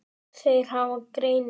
Þeir hafa greini